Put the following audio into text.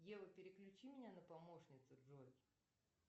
ева переключи меня на помощницу джой